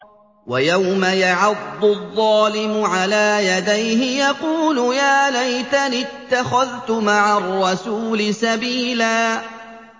وَيَوْمَ يَعَضُّ الظَّالِمُ عَلَىٰ يَدَيْهِ يَقُولُ يَا لَيْتَنِي اتَّخَذْتُ مَعَ الرَّسُولِ سَبِيلًا